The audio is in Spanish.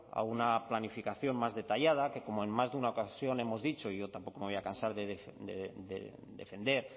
a una planificación más detallada que como en más de una ocasión hemos dicho y yo tampoco me voy a cansar de defender